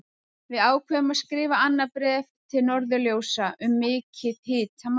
Við ákváðum að skrifa annað bréf til Norðurljósa um mikið hitamál!